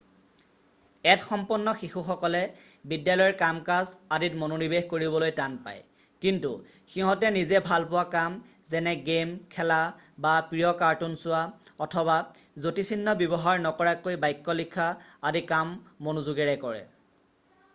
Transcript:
add সম্পন্ন শিশুসকলে বিদ্যালয়ৰ কাম কাজ আদিত মনোনিৱেশ কৰিবলৈ টান পায় কিন্তু সিহঁতে নিজে ভাল পোৱা কাম যেনে গে'ম খেলা বা প্ৰিয় কাৰ্টুন চোৱা অথবা যতিচিহ্ন ব্যৱহাৰ নকৰাকৈ বাক্য লিখা আদি কাম মনোযোগেৰে কৰে